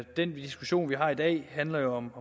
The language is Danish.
den diskussion vi har i dag handler om